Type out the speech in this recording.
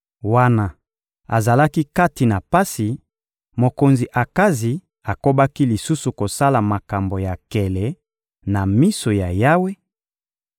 Wana azalaki kati na pasi, mokonzi Akazi akobaki lisusu kosala makambo ya nkele na miso ya Yawe: